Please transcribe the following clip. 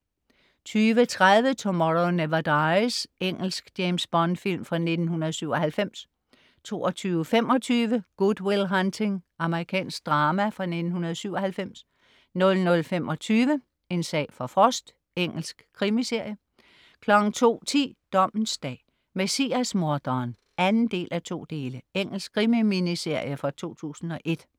20.30 Tomorrow Never Dies. Engelsk James Bond-film fra 1997 22.25 Good Will Hunting. Amerikansk drama fra 1997 00.25 En sag for Frost. Engelsk krimiserie 02.10 Dommens dag: Messias-morderen (2:2). Engelsk krimi-miniserie fra 2001